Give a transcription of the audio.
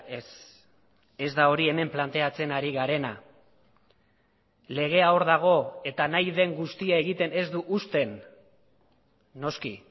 ez ez da hori hemen planteatzen ari garena legea hor dago eta nahi den guztia egiten ez du uzten noski